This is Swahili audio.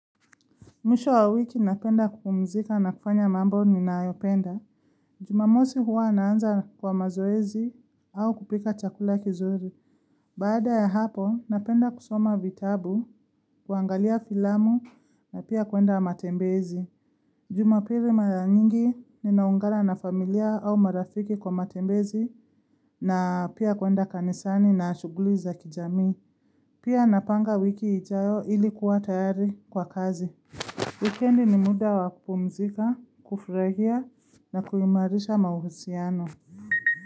Miwisho wa wiki napenda kupumzika na kufanya mambo ninayopenda. Jumamosi huwa naanza kwa mazoezi au kupika chakula kizuri. Baada ya hapo napenda kusoma vitabu, kuangalia filamu na pia kuenda matembezi. Jumapili mara nyingi ninaungana na familia au marafiki kwa matembezi na pia kuenda kanisani na ashuguli za kijamii. Pia napanga wiki ijayo ili kuwa tayari kwa kazi. Wikendi ni muda wa kupumzika, kufurahia na kuimarisha mahusiano.